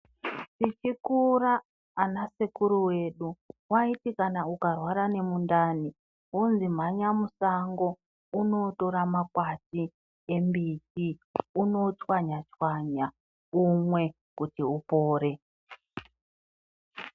Tichikura ana sekuru vedu vaiti kana ukarwara ngemundani wozi mhanya mushango undotora makwati embiti unochwanya chwanya umwe kuti upore.